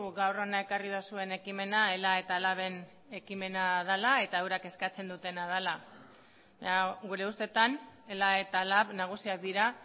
gaur hona ekarri duzuen ekimena ela eta laben ekimena dela eta eurek eskatzen dutena dela baina gure ustetan ela eta lab nagusiak dira